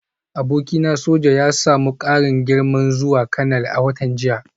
Abokina soja ya samu karin girma zuwa kanal a watan jiya